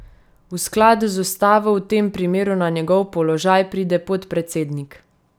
V skladu z ustavo v tem primeru na njegov položaj pride podpredsednik.